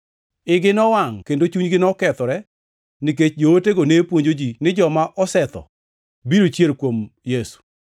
Igi nowangʼ kendo chunygi nokethore nikech jootego ne puonjo ji ni joma osetho biro chier kuom Yesu.